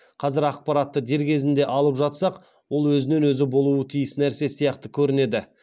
қазір ақпаратты дер кезінде алып жатсақ ол өзінен өзі болуы тиіс нәрсе сияқты көрінеді